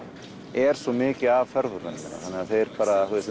er svo mikið af ferðamönnum